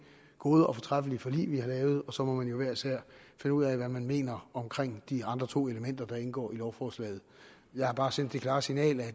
gode og fortræffelige forlig vi har lavet og så må man jo hver især finde ud af hvad man mener om de andre to elementer der indgår i lovforslaget jeg har bare sendt det klare signal at